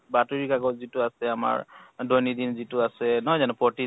বাতৰি কাকত যিটো আছে আমাৰ, দৈন্য়দিন যিটো আছে, নহয় জানো ? প্ৰতি